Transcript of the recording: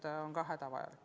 Urve Tiidus, palun!